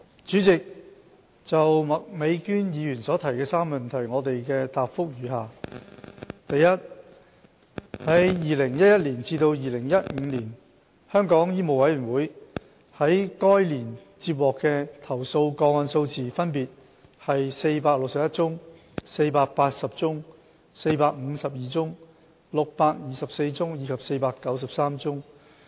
主席，我就麥美娟議員所提的質詢的3個部分，答覆如下：一2011年至2015年，香港醫務委員會於該年接獲的投訴個案數字分別為461宗、480宗、452宗、624宗，以及493宗。